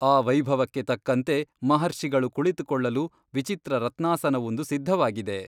ಆ ವೈಭವಕ್ಕೆ ತಕ್ಕಂತೆ ಮಹರ್ಷಿಗಳು ಕುಳಿತುಕೊಳ್ಳಲು ವಿಚಿತ್ರ ರತ್ನಾಸನವೊಂದು ಸಿದ್ಧವಾಗಿದೆ.